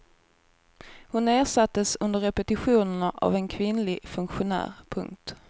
Hon ersattes under repetitionerna av en kvinnlig funktionär. punkt